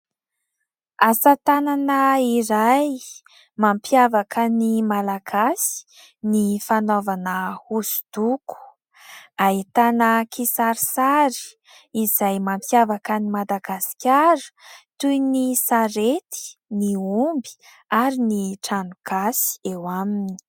Asa tanana iray, mampiavaka ny malagasy ny fanaovana hosodoko. Ahitana kisarisary izay mampiavaka an'i Madagasikara toy ny sarety ny omby ary ny trano gasy eo aminy.